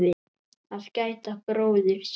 Að gæta bróður síns